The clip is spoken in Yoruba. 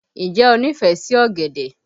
Ǹjẹ́ o nífẹ̀ẹ́ sí ọ̀gẹ̀dẹ̀?